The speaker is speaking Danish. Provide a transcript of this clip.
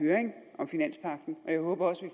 høring om finanspagten og jeg håber også at